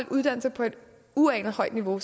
uddannelser på et uanet højt niveau